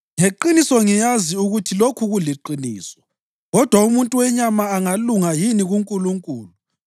“Ngeqiniso ngiyazi ukuthi lokhu kuliqiniso. Kodwa umuntu wenyama angalunga yini kuNkulunkulu?